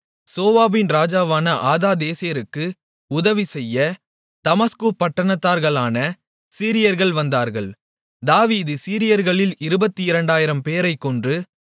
சோபாவின் ராஜாவான ஆதாதேசருக்கு உதவிசெய்ய தமஸ்குப் பட்டணத்தார்களான சீரியர்கள் வந்தார்கள் தாவீது சீரியர்களில் 22000 பேரைக் கொன்று